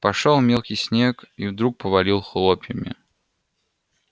пошёл мелкий снег и вдруг повалил хлопьями